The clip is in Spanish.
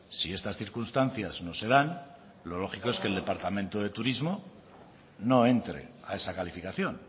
si estas circunstancias no se dan lo lógico es que el departamento de turismo no entre a esa calificación